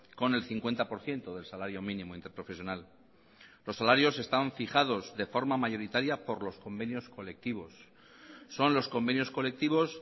con el cincuenta por ciento del salario mínimo interprofesional los salarios están fijados de forma mayoritaria por los convenios colectivos son los convenios colectivos